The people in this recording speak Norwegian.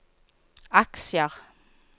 aksjer